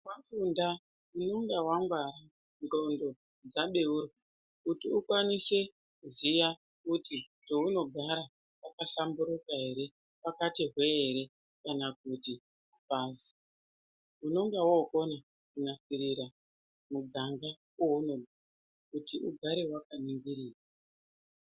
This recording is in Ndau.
Wafunda unenga wangwara ndxondo dzabeurwa kuti ukwanise kuziya kuti paunogara pakahlamburuka ere pakati hwe-e ere kana kuti apazi, unenge wokona kunasirira muganga waunogara kuti ugare wakaningirika.